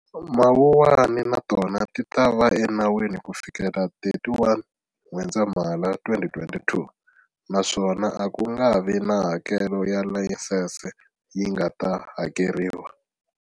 Mawuwani na tona ti ta va enawini kufikela 31 N'wendzamhala 2022, naswona a ku nga vi na hakelo ya layisense yi nga ta hakeriwa.